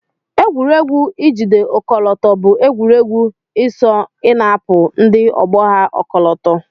Egwuregwu ijide ọkọlọto bu egwuregwu isọ inapụ ndi ogbo ha ọkọlọtọ.